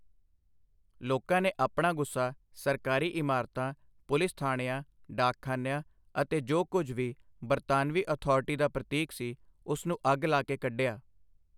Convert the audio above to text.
ਲੋਕਾਂ ਨੇ ਆਪਣਾ ਗੁੱਸਾ ਸਰਕਾਰੀ ਇਮਾਰਤਾਂ ਪੁਲਿਸ ਥਾਣਿਆਂ ਡਾਕਖਾਨਿਆਂ ਅਤੇ ਜੋ ਕੁਝ ਵੀ ਬਰਤਾਨਵੀ ਅਥਾਰਟੀ ਦਾ ਪ੍ਰਤੀਕ ਸੀ ਉਸ ਨੂੰ ਅੱਗ ਲਾ ਕੇ ਕੱਢਿਆ।